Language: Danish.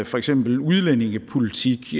for eksempel udlændingepolitik